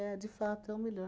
É, de fato, é o melhor.